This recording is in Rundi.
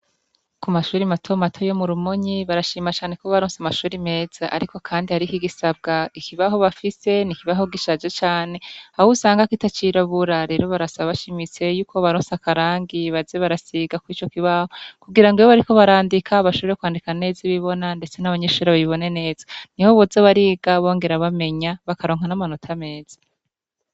Kumashure matomato yo murumonyi barashima cane kobararose amashure meza ariko kandi hariho igisabwa ikibaho bafise n'ikibaho gishaje cane ahusanga kitacirabura. Rero barasaba bushimitse ko bobarosa akarangi baze barasiga kwico kibaho kugirango iyo bariko barandika bashobore kwandika neza ibibona ndetse n'abanyeshure babibone neza. Niho boza bariga bongera bamenya bakaronka n'amanota meza.